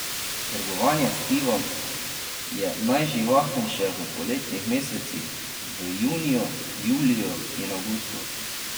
Trgovanje s pivom je najživahnejše v poletnih mesecih, v juniju, juliju in avgustu.